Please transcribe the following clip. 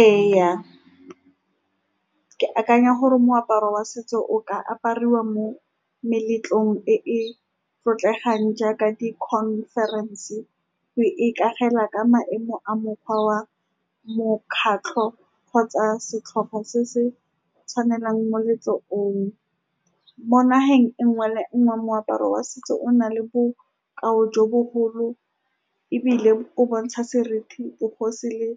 Ee, ke akanya gore moaparo wa setso o ka apariwa mo meletlong e e tlotlegang, jaaka dikhonferense, mme ikagela ka maemo a mokgwa wa mokgatlo kgotsa setlhopha se se tshwanelang moletlo oo. Mo naheng e nngwe le nngwe, moaparo wa setso o na le bokao jo bogolo, ebile o bontsha seriti, bogosi le